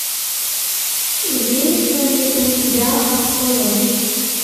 имеется ли у тебя абсолон